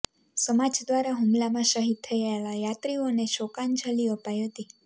સમાજ દ્વારા હુમલામાં શહીદ થયેલા યાત્રિઓને શોકાંજલિ અપાઈ હતી